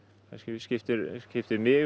skiptir skiptir mig